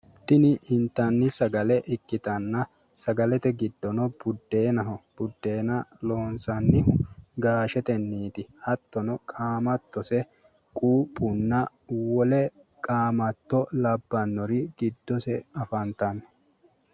Tini intanni sagale ikkitanna. Sagalete giddono buddeenaho. Budeena loonsannihu gaashetenniiti. Hattono qaamattose quuphunna wole qaamatto labbannori giddose afantanno.